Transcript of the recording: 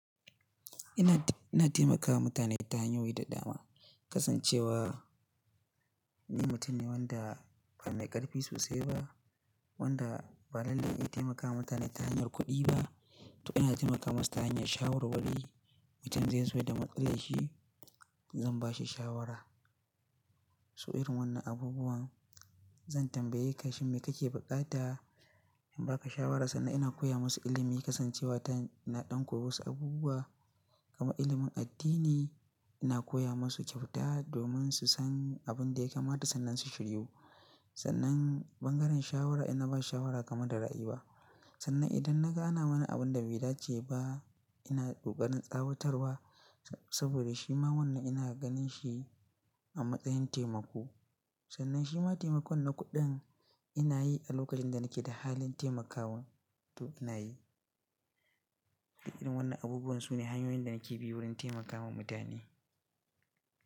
Ina, ina taimakawa mutane ta hanyoyi da dama. Kasancewa ni, mutum ne wanda ba mai ƙarfi sosai ba, wanda ba lalle na taimakawa mutane ta hanyar kuɗi ba. To ina taimaka musu ta hanyar shawarwari. Mutum zai zo da matsalar shi, zan bashi shawara. Su irin wannan abubuwan zan tambaye ka shin, me kake buƙata? In ba ka shawara sannan ina koya musu ilimi. Kasancewa ta ina ɗanko musu abubuwa kamar ilimin addini. Ina koya musu kyauta domin su san abin da ya kamata sannan su shiryu. Sannan bangaren shawara ina ba shawara kamar da ra'ayi ba. Sannan idan na ga ana wani abun da bai dace ba ina kokarin tsawatarwa saboda shi ma wannan ina ganin shi a matsayin taimako. Sannan shi ma taimakon na kuɗin ina yi a lokacin da nake da halin taimakawa to ina yi. Irin wannan abubuwan sune hanyoyin da nake bi wurin taimakawa mutane.